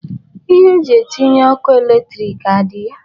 Ihe eji etinye ọkụ eletrik adị ya?